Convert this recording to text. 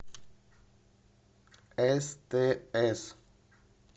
стс